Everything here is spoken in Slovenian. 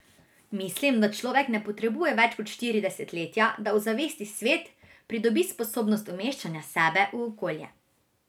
Mislim, da človek ne potrebuje več kot štiri desetletja, da ozavesti svet, pridobi sposobnost umeščanja sebe v okolje.